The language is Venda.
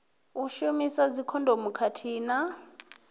u shumisa dzikhondomu khathihi na